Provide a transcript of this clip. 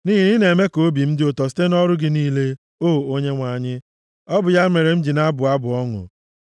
Nʼihi na ị na-eme ka obi dị m ụtọ, site nʼọrụ gị niile, o Onyenwe anyị, Ọ bụ ya mere m ji na-abụ abụ ọṅụ.